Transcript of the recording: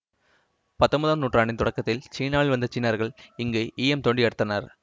பத்தொன்பதாம் நூற்றாண்டின் தொடக்கத்தில் சீனாவில் வந்த சீனர்கள் இங்கு ஈயம் தோண்டி எடுத்தனர்